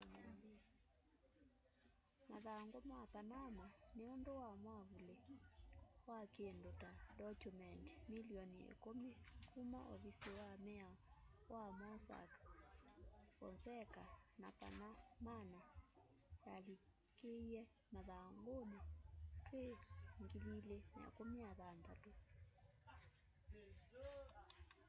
mathangu ma panama” ni undu wa mwavuli wa kindu ta ndokyumendi milioni ikumi kuma ovisi wa miao wa mossack fonseca ya panamana yalikíie marhanguni twi 2016